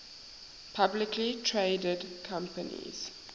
publicly traded companies